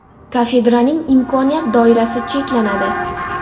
Kafedraning imkoniyat doirasi cheklanadi.